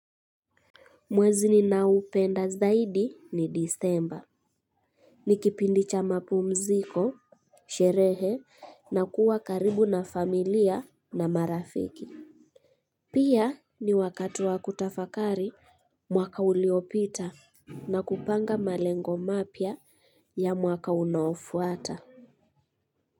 Mwezi ninaoupenda zaidi ni disemba. Ni kipindi cha mapumziko, sherehe na kuwa karibu na familia na marafiki. Pia ni wakati wa kutafakari mwaka uliopita na kupanga malengo mapya ya mwaka unaofuata.